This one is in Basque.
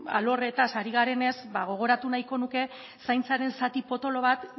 alorretaz ari garenez ba gogoratu nahiko nuke zaintzaren zati potolo bat